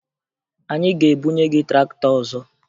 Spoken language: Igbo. Anyị ga-ebunye gị traktọ ọzọ